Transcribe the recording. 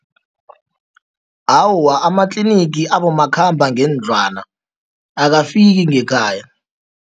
Awa, amatlinigi abomakhambangendlwana akafiki ngekhaya.